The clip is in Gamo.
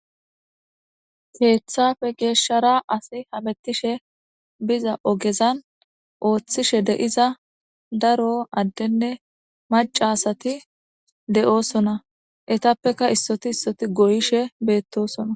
Keeththafe geeshshara asi hamettishe biza ogezan ooththishe de7iza daro addenne maca sati de7osona etappeka issoti issoti goyishe beettosona.